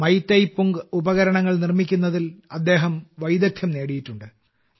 മൈയ്തേയ്പുംഗ് ഉപകരണങ്ങൾ നിർമ്മിക്കുന്നതിൽ അദ്ദേഹം വൈദഗ്ദ്ധ്യം നേടിയിട്ടുണ്ട്